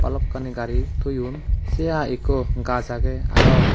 balokani gari toyon say hai ekko gaas aagay arow.